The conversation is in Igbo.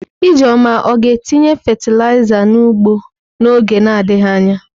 Ijeoma ọ ga-etinye fatịlaịza n'ugbo n'oge na-adịghị anya?